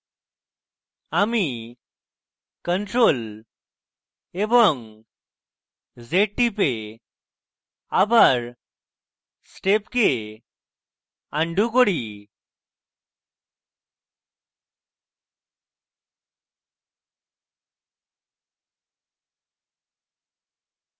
আমি ctrl + z টিপে আবার steps আনডু করি